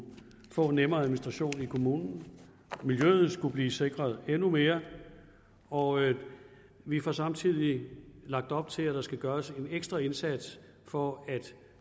få en nemmere administration i kommunen miljøet skulle blive sikret endnu mere og vi får samtidig lagt op til at der skal gøres en ekstra indsats for at